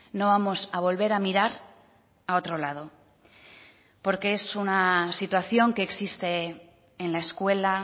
no vamos a volver a mirar a otro lado porque es una situación que existe en la escuela